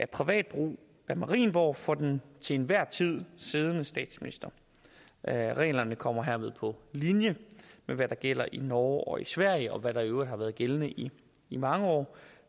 privat brug af marienborg for den til enhver tid siddende statsminister reglerne kommer herved på linje med hvad der gælder i norge og i sverige og hvad der i øvrigt har været gældende i i mange år